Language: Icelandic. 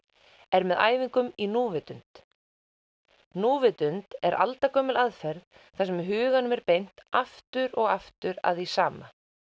er með æfingum í núvitund núvitund er aldagömul aðferð þar sem huganum er beint aftur og aftur að því sama